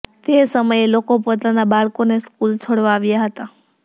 તે સમયે લોકો પોતાના બાળકોને સ્કૂલ છોડવા આવ્યા હતા